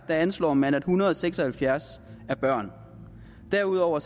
anslår man at en hundrede og seks og halvfjerds er børn derudover